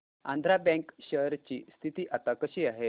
Andhra bank share ची स्थिती आता कशी आहे